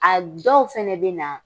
A dɔw fana bɛ na